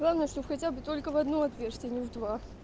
главное чтоб хотя бы только в одно отверстие а не в два